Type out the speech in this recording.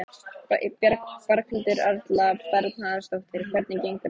Berghildur Erla Bernharðsdóttir: Hvernig gengur þetta?